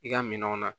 I ka minɛnw na